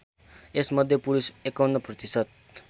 यसमध्ये पुरुष ५१ प्रतिशत